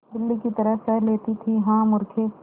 बिल्ली की तरह सह लेती थीहा मूर्खे